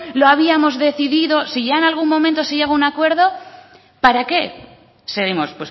lo habíamos decidido si ya en algún momento se llega a un acuerdo para qué seguimos